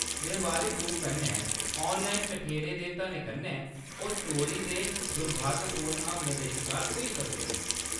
व्यावहारिक रूप कन्नै 'ऑनलाइन' कठेरे दे धनै कन्नै, ओह् चोरी ते दुर्भावनापूर्ण हमलें दे शकार होई सकदे न।